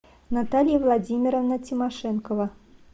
наталья владимировна тимошенкова